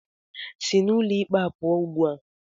Sị n'ụlọ ikpe a pụọ ugbu a!